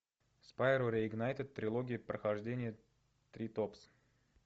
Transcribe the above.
спайро реигнайтед трилогия прохождения три топс